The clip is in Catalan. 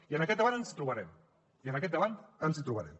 i en aquest debat ens hi trobarem i en aquest debat ens hi trobarem